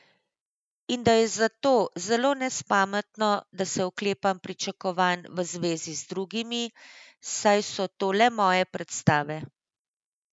In da je zato zelo nespametno, da se oklepam pričakovanj v zvezi z drugimi, saj so to le moje predstave.